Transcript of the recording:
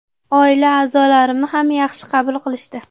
Oila a’zolarimni ham yaxshi qabul qilishdi.